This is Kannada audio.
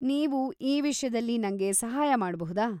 ನೀವು ಈ ವಿಷ್ಯದಲ್ಲಿ ನಂಗೆ ಸಹಾಯ ಮಾಡ್ಬಹುದಾ?